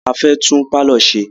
A fẹ́ tún pálọ̀ ṣe.